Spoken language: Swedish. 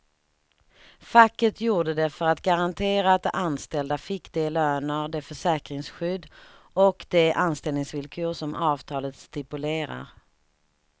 Facket gjorde det för att garantera att de anställda fick de löner, det försäkringsskydd och de anställningsvillkor som avtalet stipulerar.